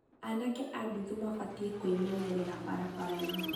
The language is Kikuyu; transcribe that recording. aanake a nduthi mabatiĩ kũĩmenyerera barabara-inĩ